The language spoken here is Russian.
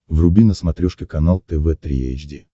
вруби на смотрешке канал тв три эйч ди